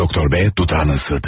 Doktor B dudağını ısırdı.